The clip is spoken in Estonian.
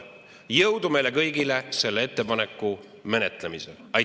Jõudu meile kõigile selle ettepaneku menetlemisel!